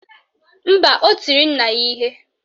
Mba, o tiri nna ya ihe